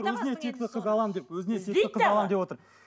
өзіне текті қыз аламын деп өзіне текті қыз аламын деп отыр